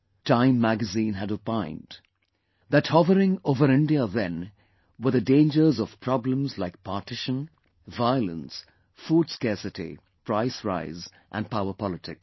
Time Magazine had opined that hovering over India then were the dangers of problems like partition, violence, food scarcity, price rise and powerpolitics